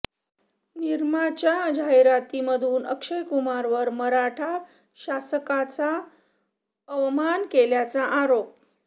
निरमाच्या जाहिरातीमधून अक्षय कुमारवर मराठा शासकांचा अवमान केल्याचा आरोप